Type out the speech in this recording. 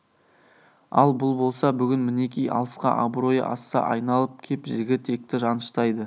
ал бұл болса бүгін мінеки алысқа абыройы асса айналып кеп жігі текті жаныштайды